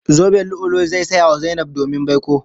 Zoben lu'ulu'u zai saya wa Zainab domin baiko.